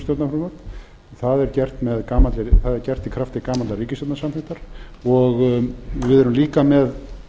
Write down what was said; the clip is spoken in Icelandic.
stjórnarfrumvörp það er gert í krafti gamallar ríkisstjórnarsamþykktar og við erum líka með